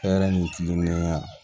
Hɛrɛ ni tilennenya